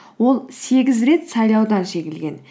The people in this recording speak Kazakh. ол сегіз рет сайлаудан жеңілген